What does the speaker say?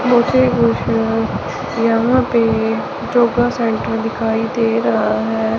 मुझे कुछ यहां पे योगा सेंटर दिखाई दे रहा है।